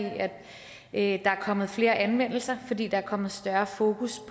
at der er kommet flere anmeldelser fordi der er kommet større fokus